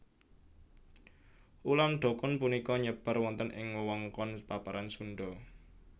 Ulam dokun punika nyebar wonten ing wewengkon paparan Sunda